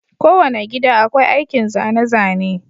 Kowane gida akwai aikin zane-zane.